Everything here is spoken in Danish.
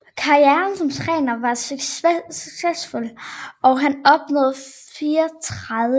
Karrieren som træner var succesfuld og han opnåede 34 sejre